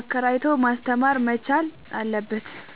አከራይቶ ማስተማር መቻል አለበት።